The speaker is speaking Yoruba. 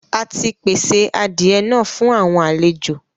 À tì pèsè àdìẹ̀ náà fún àwọn alẹ̀jọ.